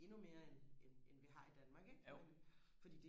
endnu mere end end end vi har i Danmark ikke men fordi